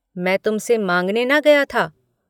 मैं तुम से माँगने न गया था।